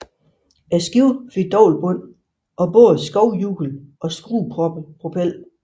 Skibet fik dobbeltbund og både skovlhjul og skruepropel